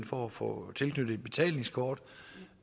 for at få tilknyttet et betalingskort